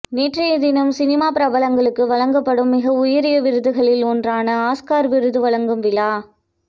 நேற்றைய தினம் சினிமா பிரபலங்களுக்கு வழங்கப்படும் மிக உயரிய விருதுகளில் ஒன்றான ஆஸ்கர் விருது வழங்கும் விழா